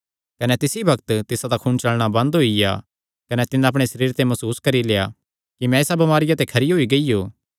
कने तिसी बग्त तिसादा खून चलणा बंद होईया कने तिन्नै अपणे सरीरे ते मसूस करी लेआ कि मैं इसा बमारिया ते खरी होई गियो